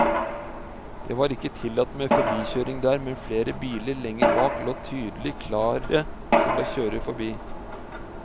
Det var ikke tillatt med forbikjøring der, men flere biler lenger bak lå tydelig klare til å kjøre forbi.